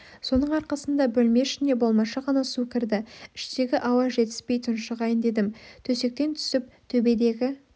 соның арқасында бөлме ішіне болмашы ғана су кірді іштегі ауа жетіспей тұншығайын дедім төсектен түсіп төбедегі